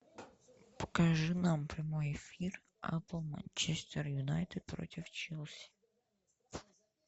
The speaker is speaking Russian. покажи нам прямой эфир апл манчестер юнайтед против челси